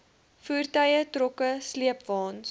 voertuie trokke sleepwaens